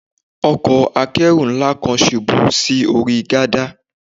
Ọkọ̀ Akẹ́rù ńlá kan ṣubú sí orí gádà